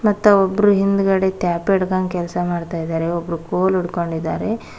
ಮತ್ತು ಒಬ್ರು ಹಿಂದಗಡೆ ತ್ಯಾಪ್ಪಿ ಹಿಡ್ಕೊಂಡು ಕೆಲಸ ಮಾಡುತ್ತಿದ್ದಾರೆ ಒಬ್ಬರ ಫೋನ್ ಇಟ್ಕೊಂಡಿದ್ದಾರೆ.